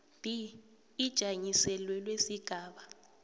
b ijanyiselelwe sigaba